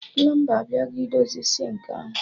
Plọmba abịago idozi sịnkị ahụ